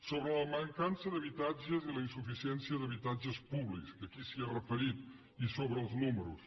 sobre la mancança d’habitatges i la insuficiència d’habitatges públics que aquí s’hi ha referit i sobre els números